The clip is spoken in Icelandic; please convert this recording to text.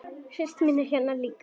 Systir mín er hérna líka.